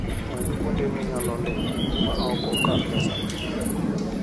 Many kuonde minyalo limo ma ok okal pesa mang'eny.